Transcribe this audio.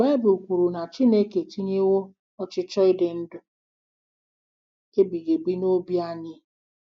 Baịbụl kwuru na Chineke etinyewo ọchịchọ ịdị ndụ ndụ ebighị ebi n’obi anyị.